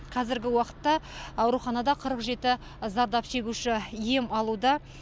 қазіргі уақытта ауруханада қырық жеті зардап шегуші ем алуда